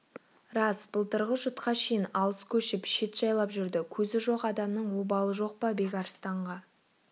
рас былтырғы жұтқа шейін алыс көшіп шет жайлап жүрді көзі жоқ адамның обалы жоқ па бекарыстанға